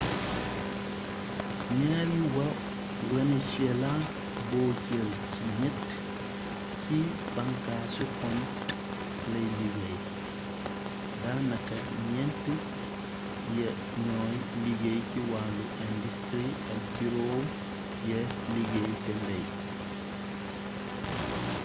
ñaari wa venezuela boo jël ci ñett ci bànkaasi kom lay liggéey daa naka ñent ya ñooy liggéey ci wàllu industri ak juróom ya liggéey ca mbey